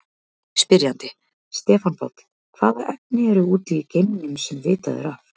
Spyrjandi: Stefán Páll Hvaða efni eru úti í geimnum, sem vitað er af?